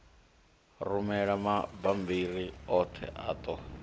rumela mabammbiri oṱhe a ṱo